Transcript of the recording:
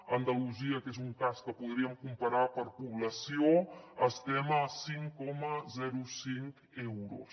a andalusia que és un cas que podríem comparar per població estem a cinc coma cinc euros